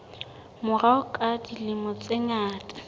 morao ka dilemo tse ngata